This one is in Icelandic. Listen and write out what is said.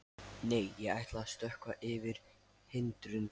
Nei, ég ætla að stökkva yfir hindrun.